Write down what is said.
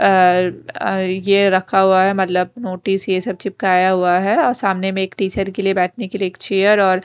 अ ये रखा हुआ है मतलब नोटिस ये सब चिपकाया हुआ है और सामने में एक टीचर के लिए बैठने के लिए एक चेयर और--